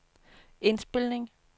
indspilning